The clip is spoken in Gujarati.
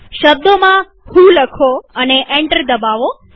શબ્દોમાં વ્હો લખો અને એન્ટર દબાવો